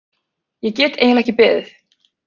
Ég get eiginlega ekki beðið.